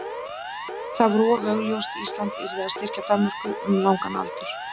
það var of augljóst: Ísland yrði að styrkja Danmörku um langan aldur.